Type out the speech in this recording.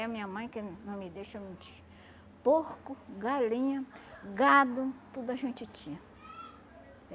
a minha mãe, que não me deixa mentir, porco, galinha, gado, tudo a gente tinha. É.